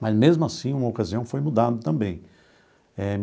Mas, mesmo assim, uma ocasião foi mudado também eh.